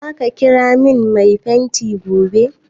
Za ka kira min mai fenti gobe?